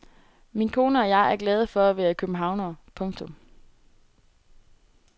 Min kone og jeg er glade for at være københavnere. punktum